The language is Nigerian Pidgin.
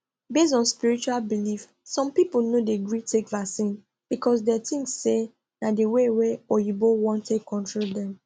based on spiritual belief some people no dey gree take vaccine because dem think say na the way wa oyinbo wan take control dem